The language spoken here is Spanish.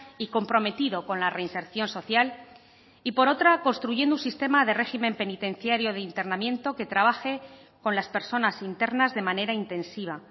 y comprometido con la reinserción social y por otra construyendo un sistema de régimen penitenciario de internamiento que trabaje con las personas internas de manera intensiva